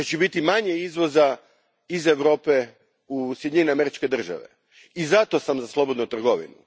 Jer će biti manje izvoza iz Europe u Sjedinjene Američke Države, i zato sam za slobodnu trgovinu.